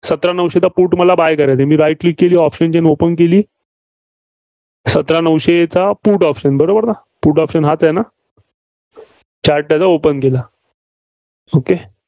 सतरा नऊशेचा put मला buy करायचा आहे? right click केली, option open केली. सतरा नऊशेचा put option बरोबर ना? put option हाच आहे ना? Chart त्याचा open केला. okay